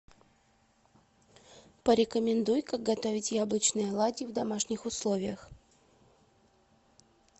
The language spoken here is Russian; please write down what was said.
порекомендуй как готовить яблочные оладьи в домашних условиях